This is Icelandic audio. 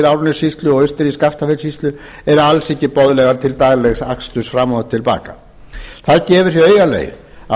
árnessýslu og austur í skaftafellssýslu eru alls ekki boðlegar til daglegs aksturs fram og til baka það gefur augaleið að